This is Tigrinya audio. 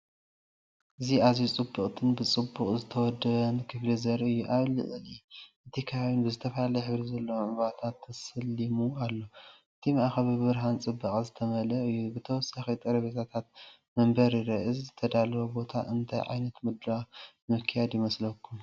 እዚ ኣዝዩ ጽብቕትን ብጽቡቕ ዝተወደበን ክፍሊ ዘርኢ እዩ። ኣብ ልዕሊ እቲ ከባቢን ብዝተፈላለየ ሕብሪ ዘለዎም ዕምባባታት ተሰሊሙ ኣሎ። እቲ ማእኸል ብብርሃንን ፅባቐን ዝተመልአ እዩ፤ ተወሳኺ ጠረጴዛታትን መንበርን ይርአ። እዚ ዝተዳለወ ቦታ እንታይ ዓይነት ምድላው ንምክያድ ይመስለኩም?